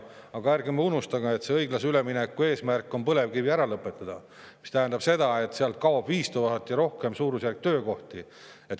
Aga ärge unustage, et õiglase ülemineku fondi eesmärk on põlevkivi tootmine ära lõpetada, mis tähendab seda, et sealt kaob 5000 töökohta ja rohkemgi.